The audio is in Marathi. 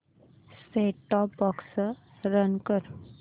सेट टॉप बॉक्स रन कर